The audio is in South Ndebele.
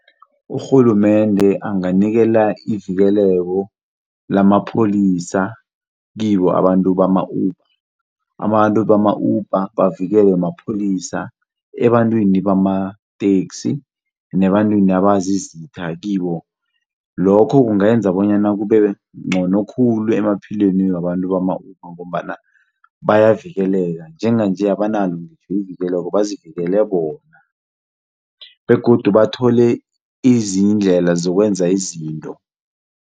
Urhulumende anganikela ivikeleko lamapholisa kibo abantu bama-Uber, abantu bama-Uber bavikelwe mapholisa ebantwini bamateksi nebantwini abazizitha kibo. Lokho kungenza bonyana kube ngcono khulu emaphilweni wabantu bama-Uber ngombana bayavikeleka njenganje abanalo ivikeleko bazivikele bona begodu bathole izindlela zokwenza izinto.